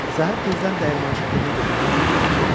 Səhər tezdən dəyirmançı pulunu götürmək üçün gəlib çıxdı.